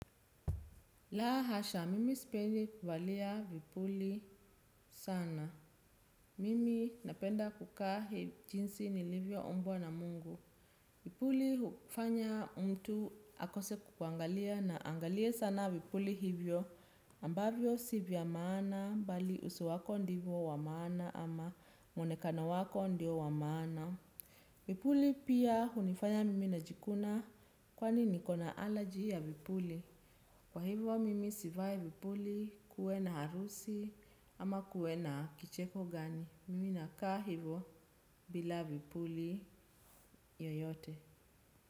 Laa hasha, mimi sipendi kuvaa vipuli sana. Mimi napenda kukaa jinsi nilivyoumbwa na Mungu. Vipuli hufanya mtu akose kukuangalia na angalie sana vipuli hivyo ambavyo si vya maana bali uso wako ndiyo ya maana ama muonekano wako ndiyo wa maana. Vipuli pia hunifanya mimi najikuna kwani nina allergy ya vipuli. Kwa hivyo mimi sivai vipuli kuwe na harusi ama kuwe na kicheko gani. Mimi nakaa hivyo bila vipuli yoyote.